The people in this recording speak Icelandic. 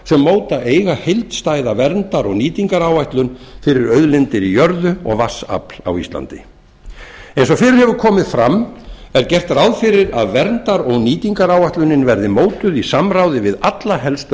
sem móta eiga heildstæða verndar og nýtingaráætlun fyrir auðlindir í jörðu og vatnsafl á íslandi eins og fyrr hefur komið fram er gert ráð fyrir að verndar og nýtingaráætlunin verði mótuð í samráði við alla helstu